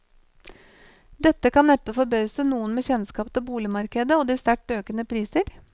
Dette kan neppe forbause noen med kjennskap til boligmarkedet og de sterkt økende priser.